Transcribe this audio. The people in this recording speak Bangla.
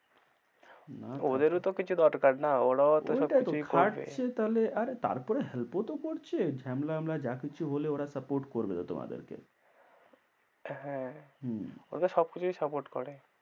ওদেরও তো কিছু দরকার না, ওরাও তো সব কিছু করবে। ওটাই তো খাটছে তাহলে আরে তারপরে help ও তো করছে, ঝামেলা মালেমা যা কিছু হলে ওরা support করবে তো তোমাদেরকে হ্যাঁ হম ওরাতো সবকিছুই support করে।